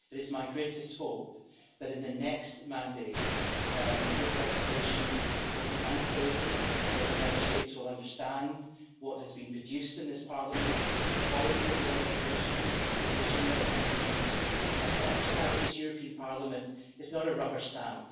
It is my greatest hope that, in the next term, this legislation will be unfrozen, and that the Member States will understand what has been produced in this Parliament the quality of the legislation, the vision that has been produced and understand that this European Parliament is not a rubber stamp.